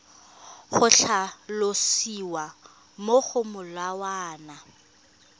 go tlhalosiwa mo go molawana